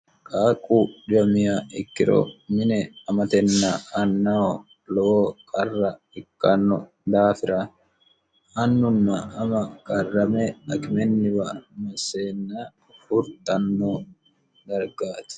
qaaqu dhiwamiya ikkiro mine amatenna annaho lowo qarra ikkanno daafira annunna ama karrame akimenniwa masseenna furtanno dargaati